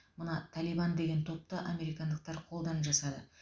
мына талибан деген топты американдықтар қолдан жасады